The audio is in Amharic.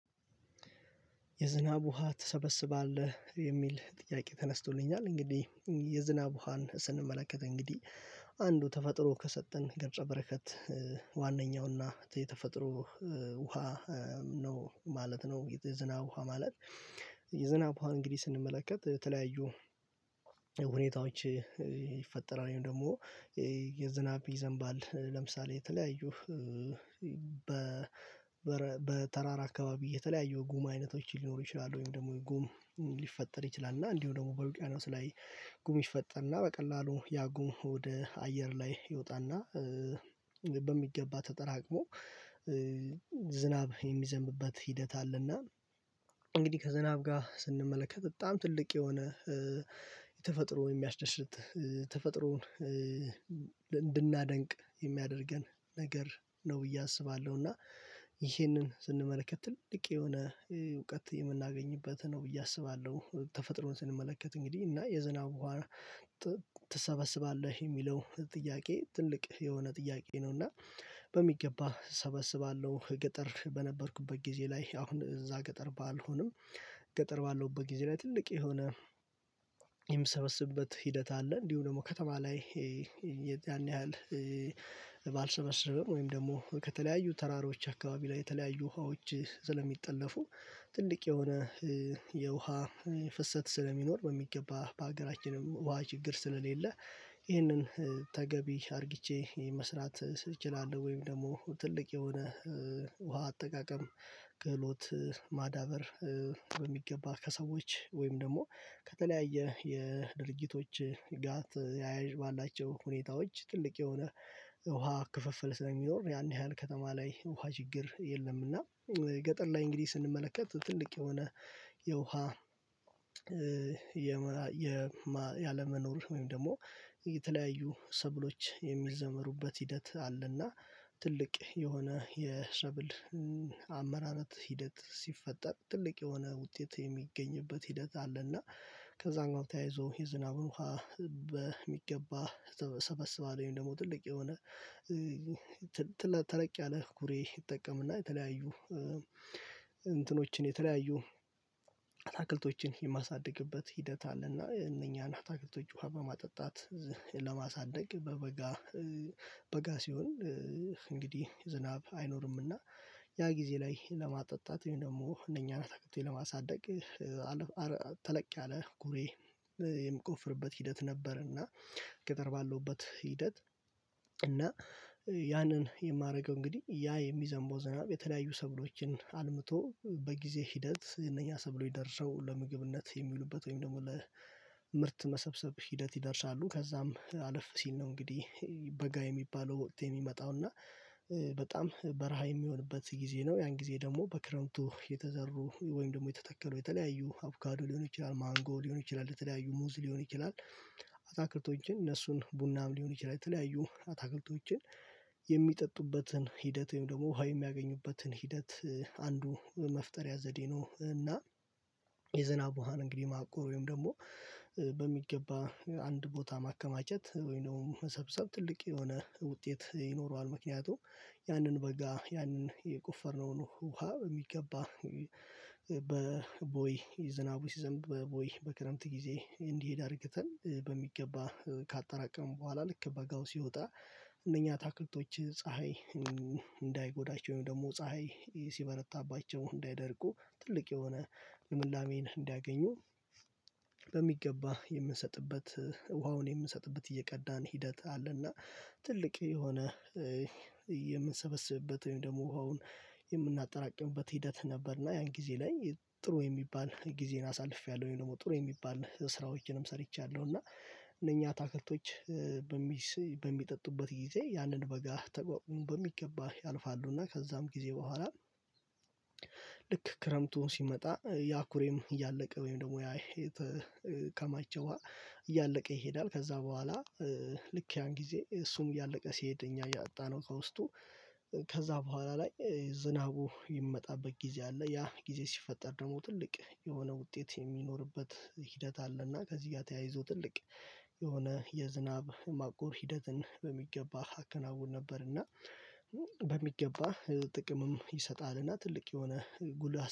የዝናብ ውሃ ትሰበስባለህ የሚል ጥያቄ ተነስቶልኛል። እንግዲህ የዝናብ ውሃን ስንመለከት እንግዲህ አንዱ ተፈጥሮ ከሰጠን ገጸ በረከት ዋናኛውና የተፈጥሮ ውሃ ነው ማለት ነው። የዝናብ ውሃ ማለት። የዝናብ ውሃ እንግዲህ ስንመለከት የተለያዩ ሁኔታዎች ይፈጠራል። ደግሞ የዝናብ ይዘንባል ለምሳሌ የተለያዩ በተራራ አካባቢ የተለያዩ ጉማ አይነቶች ሊኖሩ ይችላሉ ወይም ደግሞ ጉም ሊፈጠር ይችላል። እና እንዲሁ ደግሞ በውቅያኖስ ላይ ጉም ይፈጠርና በቀላሉ ያጉን ወደ አየር ላይ ይወጣና በሚገባ ተጠራቅሞ ዝናብ የሚዘንብበት ሂደት አለና። እንግዲህ ከዝናብ ጋር ስንመለከት በጣም ትልቅ የሆነ የተፈጥሮ የሚያስደስት ተፈጥሮን እንድናደንቅ የሚያደርገን ነገር ነው ብዬ አስባለሁ። እና ይሄንን ስንመለከት ትልቅ የሆነ እውቀት የምናገኝበት ነው ብዬ አስባለሁ። ተፈጥሮን ስንመለከት እንግዲህ እና የዝናብ ውሃ ትሰበስባለህ የሚለው ጥያቄ ትልቅ የሆነ ጥያቄ ነው። እና በሚገባ እሰበስባለሁ ገጠር በነበርኩበት ጊዜ ላይ አሁን እዛ ገጠር ባልሆንም። ገጠር ባለሁበት ጊዜ ላይ ትልቅ የሆነ የምሰበስብበት ሂደት አለ። እንዲሁ ደግሞ ከተማ ላይ ያዛን ያህል ባልሰበስብም ወይም ደግሞ ከተለያዩ ተራሮች አካባቢ ላይ የተለያዩ ውሃዎች ስለሚጠለፉ። ትልቅ የሆነ የውሃ ፍሰት ስለሚኖር በሚገባ በሀገራችንም ውሃ ችግር ስለሌለ ይህንን ተገቢ አድርጊቼ መስራት እችላለሁ። ወይም ደግሞ ትልቅ የሆነ ውሃ አጠቃቀም ክህሎት ማዳበር በሚገባ ከሰዎች ወይም ደግሞ ከተለያየ የድርጊቶች ጋት ያያዥ ባላቸው ሁኔታዎች ትልቅ የሆነ ውሃ ክፍፍል ስለሚኖር። ያን ያህል ከተማ ላይ ውሃ ችግር የለምና። ገጠር ላይ እንግዲህ ስንመለከት ትልቅ የሆነ የውሃ ያለመኖር ወይም ደግሞ የተለያዩ ሰብሎች የሚዘመሩበት ሂደት አለና። ትልቅ የሆነ የሰብል አመራረት ሂደት ሲፈጠር ትልቅ የሆነ ውጤት የሚገኝበት ሂደት አለና። ከዛም ጋር ተያይዞ የዝናብን ውሃ በሚገባ ሰበስባለሁ። ወይም ደግሞ ትልቅ የሆነ ተለቅ ያለ ኩሬ እጠቀምና የተለያዩ እንትኖችን የተለያዩ አታክልቶችን የማሳድግበት ሂደት አለና እነኛን አታክልቶች ውሃ በማጠጣት ለማሳደግ በበጋ በጋ ሲሆን እንግዲህ ዝናብ አይኖርምና። ያ ጊዜ ላይ ለማጠጣት ወይም ደግሞ እነኛን አታክልቶች ለማሳደግ ተለቅ ያለ ጉሬ የምቆፍርበት ሂደት ነበርና። ገጠር ባለውበት ሂደት እና ያንን የማደርገው እንግዲህ ያ የሚዘንበው ዝናብ የተለያዩ ሰብሎችን አልምቶ በጊዜ ሂደት እነኛ ሰብሎች ደርሰው ለምግብነት የሚውሉበት ወይም ደግሞ ለምርት መሰብሰብ ሂደት ይደርሳሉ። ከዛም አለፍ ሲል ነው እንግዲህ በጋ የሚባለው ወቅት የሚመጣው እና በጣም በረሃ የሚሆንበት ጊዜ ነው። ያን ጊዜ ደግሞ በክረምቱ የተዘሩ ወይም ደግሞ የተተከሉ የተለያዩ አብጋዱ ሊሆን ይችላል ማንጎ ሊሆን ይችላል የተለያዩ ሙዝ ሊሆን ይችላል። አታክልቶችን እነሱን ቡናም ሊሆን ይችላል የተለያዩ አታክልቶችን የሚጠጡበትን ሂደት ወይም ደግሞ ውሃ የሚያገኙበትን ሂደት አንዱ መፍጠሪያ ዘዴ ነው። እና የዝናብ ውሃ እንግዲህ ማቆር ወይም ደግሞ በሚገባ አንድ ቦታ ማከማቸት ወይንም መሰብሰብ ትልቅ የሆነ ውጤት ይኖረዋል። ምክንያቱም ያንን በጋ ያንን የቆፈርነውን ውሃ በሚገባ በቦይ ዝናቡ ሲዘም በቦይ በክረምት ጊዜ እንዲሄድ አድርገን በሚገባ ካጠራቀመን በኋላ ልክ በጋው ሲወጣ እነኛ አታክልቶች ፀሀይ እንዳይጎዳቸው ወይም ደግሞ ፀሀይ ሲበረታባቸው እንዳይደርቁ ትልቅ የሆነ ልምላሜን እንዲያገኙ። በሚገባ የምንሰጥበት ውሃውን የምንሰጥበት እየቀዳን ሂደት አለና። ትልቅ የሆነ የምንሰበስብበት ወይም ደግሞ ውሃውን የምናጠራቅበት ሂደት ነበርና። ያን ጊዜ ላይ ጥሩ የሚባል ጊዜን አሳልፌያለሁ ወይ ደግሞ ጥሩ የሚባል ስራዎችንም ሰርቻለሁ። እና እነኛ አታከልቶች በሚጠጡበት ጊዜ ያንን በጋ ተቋቁመው በሚገባ ያልፋሉና። ከዛም ጊዜ በኋላ ልክ ክረምቱ ሲመጣ ያኩሬም እያለቀ ወይም ደግሞ ያ የተከማቸው ውሃ እያለቀ ይሄዳል። ከዛ በኋላ ልክ ያን ጊዜ እሱም እያለቀ ሲሄድ እኛ እያጠጣነው ከውስጡ ከዛ በኋላ ላይ ዝናቡ ይመጣበት ጊዜ አለ። ያ ጊዜ ሲፈጠር ደግሞ ትልቅ የሆነ ውጤት የሚኖርበት ሂደት አለና። ከዚህ ጋር ተያይዞ ትልቅ የሆነ የዝናብ ማቆር ሂደትን በሚገባ አከናውን ነበር። እና በሚገባ ጥቅምም ይሰጣልና ትልቅ የሆነ ጉዳት